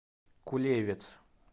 кулевец